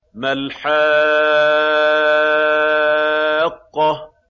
مَا الْحَاقَّةُ